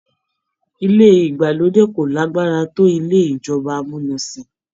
Ilé ìgbàlódé kò lágbára tó ilé ìjọba amúnisìn.